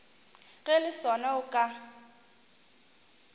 ge le sona o ka